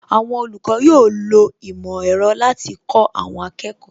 Àwọn olùkọ́ yóò lo ìmò ẹ̀rọ láti kó àwọn akẹ́kọ̀ọ́